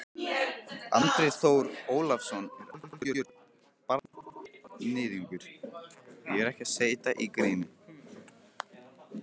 Mangi og Stína konan hans áttu ekkert barn.